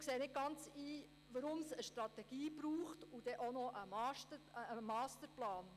Wir sehen nicht ganz ein, weshalb es eine Strategie und einen Masterplan braucht.